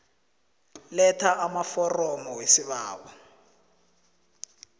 letha amaforomo wesibawo